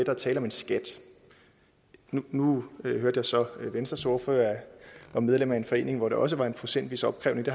er tale om en skat nu hørte jeg så at venstres ordfører var medlem af en forening hvor der også var en procentvis opkrævning